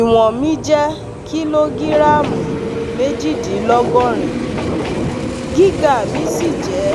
Ìwọ̀n mi jẹ́ kìlógíráàmù méjìdínlọ́gọ́rin, gíga mi sì jẹ́